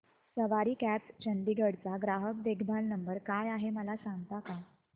सवारी cabs Chandigarh चा ग्राहक देखभाल नंबर काय आहे मला सांगता का